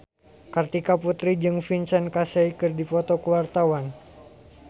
Kartika Putri jeung Vincent Cassel keur dipoto ku wartawan